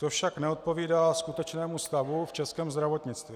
To však neodpovídá skutečnému stavu v českém zdravotnictví.